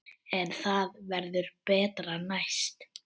En það verður betra næst.